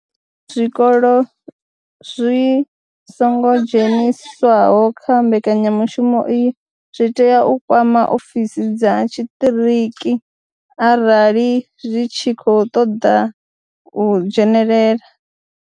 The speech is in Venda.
Zwikolo zwi songo dzheniswaho kha mbekanyamushumo iyi zwi tea u kwama ofisi dza tshiṱiriki arali zwi tshi khou ṱoḓa u dzhenelela.